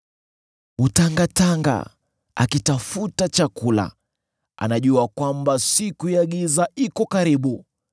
Hutangatanga, akitafuta chakula; anajua kwamba siku ya giza iko karibu.